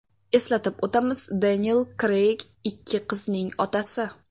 Eslatib o‘tamiz, Deniel Kreyg ikki qizning otasi.